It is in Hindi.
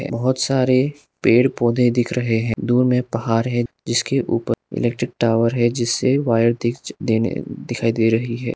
बहोत सारे पेड़ पौधे दिख रहे हैं दूर में पहाड़ है जिसके ऊपर इलेक्ट्रिक टावर है जिससे वायर दिख देने दिखाई दे रही है।